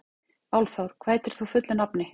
Álfþór, hvað heitir þú fullu nafni?